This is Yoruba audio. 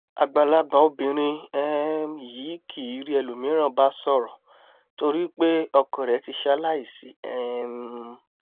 àgbàlagbà obìnrin um yìí kìí rí ẹlòmíràn bá sọ̀rọ̀ nítorípé ọkọ rẹ̀ ti ṣaláìsí um